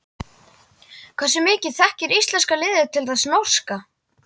Hversu mikið þekkir íslenska liðið til þess norska?